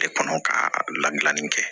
De kɔnɔ ka ladilanni kɛ